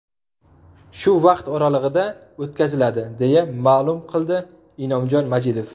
Shu vaqt oralig‘ida o‘tkaziladi”, deya ma’lum qildi Inomjon Majidov.